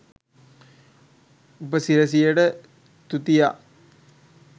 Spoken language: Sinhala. උපසිරැසියට තුතිඅ